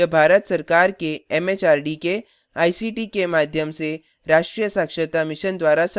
यह भारत सरकार एमएचआरडी के आईसीटी के माध्यम से राष्ट्रीय साक्षरता mission द्वारा समर्थित है